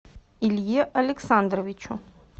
илье александровичу